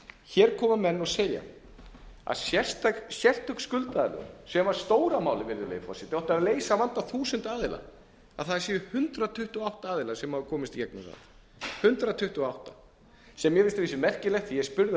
hér koma menn og segja að sérstök skuldaaðlögun sem var stóra málið virðulegi forseti og átti að leysa vanda þúsunda aðila að það séu hundrað tuttugu og átta aðilar sem hafi komist í gegnum það hundrað tuttugu og átta sem mér finnst að vísu merkilegt því að ég spurði að